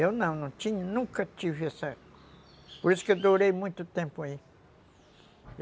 Eu não, não tinha, nunca tive essa... Por isso que eu durei muito tempo aí.